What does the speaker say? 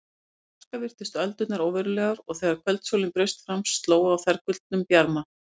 Úr fjarska virtust öldurnar óverulegar og þegar kvöldsólin braust fram sló á þær gullnum bjarma.